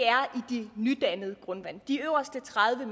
nydannede grundvand de øverste tredive